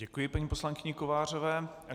Děkuji paní poslankyni Kovářové.